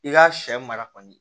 I ka sɛ mara kɔni